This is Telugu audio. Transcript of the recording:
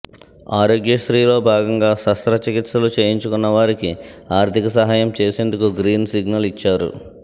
ఆరోగ్యశ్రీలో భాగంగా శస్త్ర చికిత్సలు చేయించుకున్నవారికి ఆర్థికసహాయం చేసేందుకు గ్రీన్ సిగ్నల్ ఇచ్చారు